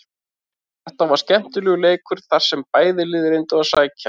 Þetta var skemmtilegur leikur þar sem bæði lið reyndu að sækja.